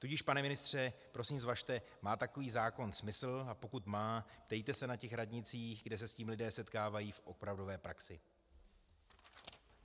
Tudíž, pane ministře, prosím, zvažte, má takový zákon smysl, a pokud má, ptejte se na těch radnicích, kde se s tím lidé setkávají v opravdové praxi.